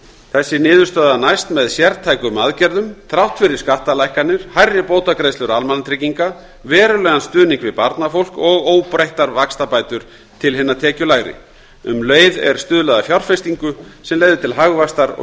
þessi niðurstaða næst með sértækum aðgerðum þrátt fyrir skattalækkanir hærri bótagreiðslur almannatrygginga verulegan stuðning við barnafólk og óbreyttar vaxtabætur til hinna tekjulægri um leið er stuðlað að fjárfestingu sem leiðir til hagvaxtar og